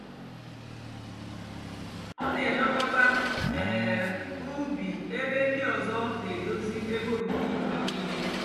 ọ nà-èlekọta um úbí ébé ndị ọzọ nà-èdozi ébé obíbí mgbe nííle.